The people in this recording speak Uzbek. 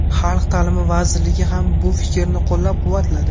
xalq ta’limi vazirligi ham bu fikrni qo‘llab-quvvatladi.